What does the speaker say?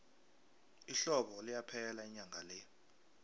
ihlobo liyaphela inyanga le